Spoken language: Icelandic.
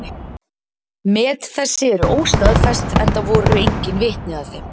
Met þessi eru óstaðfest, enda voru engin vitni að þeim.